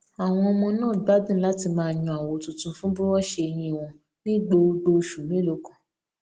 àwọn ọmọ náà gbádùn láti máa yan àwọ tuntun fún búrọọṣì eyín wọn ní gbogbo oṣù mélòó kan